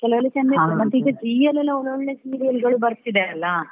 ಕೆಲವೆಲ್ಲಾ ಚಂದ ಇರ್ತದೆ ಮತ್ತೆ ಈಗ Zee ಅಲ್ಲಿ ಕೆಲವೆಲ್ಲಾ ಓಳ್~ ಓಳ್ಳೊಳ್ಳೇ serial ಗಳು ಬರ್ತಿದೆ ಅಲ್ಲಾ.